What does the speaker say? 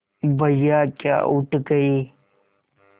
भैया क्या उठ गये